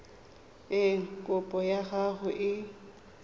eng kopo ya gago e